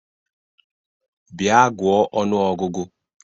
Bịa gụọ ọnụ ọgụgụ!